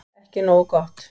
Ekki nógu gott